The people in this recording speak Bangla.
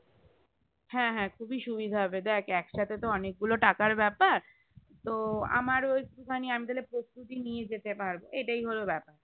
হ্যাঁ হ্যাঁ খুবই সুবিধা হবে দেখ একসাথে তো অনেক গুলো টাকার বেপার তো আমারো একটু খানি আমি তাহলে প্রস্তুতি নিয়ে যেতে পারবো এটাই হলো বেপার